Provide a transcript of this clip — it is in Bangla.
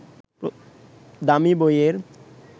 দামি বইয়ের